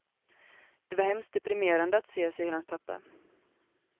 Det var hemskt deprimerande att se, säger hans pappa.